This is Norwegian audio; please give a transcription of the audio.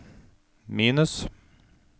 minus